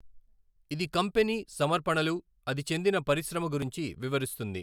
ఇది కంపెనీ సమర్పణలు, అది చెందిన పరిశ్రమ గురించి వివరిస్తుంది.